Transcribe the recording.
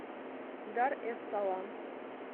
дар эс салам